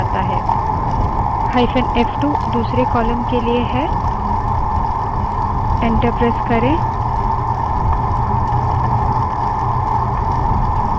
hyphen f2 दूसरे column के लिए enter प्रेस करें